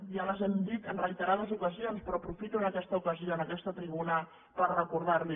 ja les hem dit en reiterades ocasions però aprofito aquesta ocasió en aquesta tribuna per recordar les hi